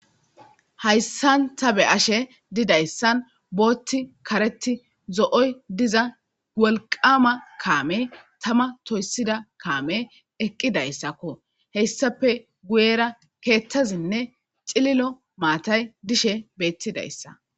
Hayssan ta be ashe didayssan bootti kareti zo'oy diza wolqama kaame tama toyssida kaame eqqidayssakko heyssape guyera keettazinne xililo maatay dishe beettidayssa.